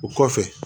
O kɔfɛ